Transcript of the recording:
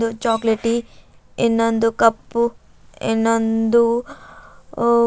chocolatey ಇನ್ನೊಂದು ಕಪ್ಪು ಇನ್ನೊಂದು ಆ--